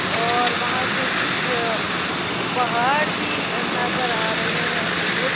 और वहां से कुछ पहाड़ भी अ नजर आ रहे हैं दूर।